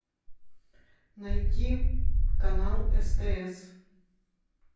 найти канал стс